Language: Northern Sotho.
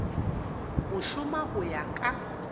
go šoma go ya ka